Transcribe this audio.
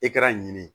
I kɛra nin ye